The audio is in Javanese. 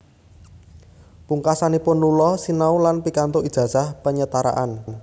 Pungkasanipun Lula sinau lan pikantuk ijazah penyetaraan